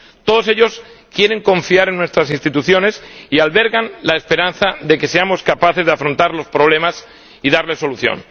Todos ellos quieren confiar en nuestras instituciones y albergan la esperanza de que seamos capaces de afrontar los problemas y darles solución.